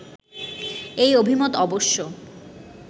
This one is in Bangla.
এই অভিমত অবশ্য